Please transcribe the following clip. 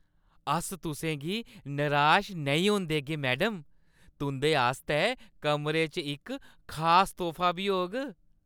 अस तुसें गी निराश नेईं होन देगे, मैडम। तुंʼदे आस्तै कमरे च इक खास तोह्फा बी होग।